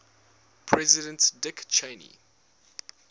president dick cheney